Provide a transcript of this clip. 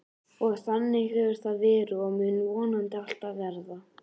Og þannig hefur það verið og mun vonandi alltaf verða.